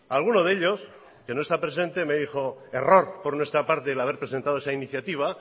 alguno de ellos que no está presente me dijo error por nuestra parte el haber presentado esa iniciativa